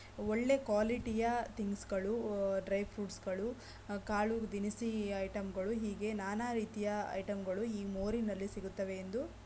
ಒಳ್ಳೆ ಕ್ವಾಲಿಟಿಯ ತಿಂಗ್ಸ್ ಗಳು ಡ್ರೈ ಫ್ರೂಟ್ಸ್ ಗಳು ಕಾಲು ದಿನಸಿ ಐಟಂಗಳು ಹೀಗೆ ನಾನಾ ರೀತಿಯ ಐಟಂಗಳು ಈ ಮೋರಿ ನಲ್ಲಿ ಸಿಗುತ್ತವೆ ಎಂದು--